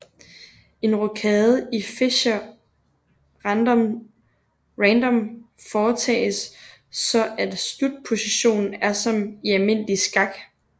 En rokade i Fischer Random foretages så at slutpositionen er som i almindelig skak